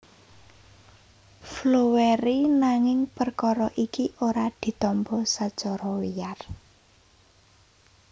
Floweri nanging perkara iki ora ditampa sacara wiyar